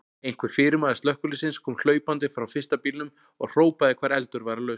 Einhver fyrirmaður slökkviliðsins kom hlaupandi frá fyrsta bílnum og hrópaði hvar eldur væri laus.